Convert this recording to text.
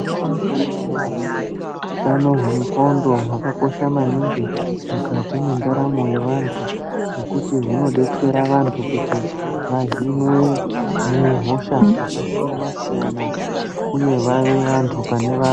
Gwinyiso remenemene utano hwenxondo hwakakosha maningi mukati mwendaramo yevantu ngekuti hunodetsera vantu kuti vahinwe muhosha dzakasiyana siyana uye vave vantu pane vantu.